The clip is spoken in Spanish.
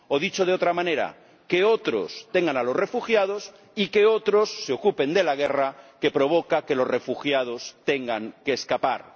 O, dicho de otra manera, que otros tengan a los refugiados y que otros se ocupen de la guerra que provoca que los refugiados tengan que escapar.